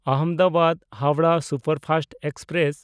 Ahmedabad Howrah superfast express